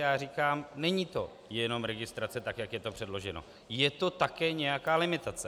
Já říkám: není to jenom registrace, tak jak je to předložené, je to také nějaká limitace.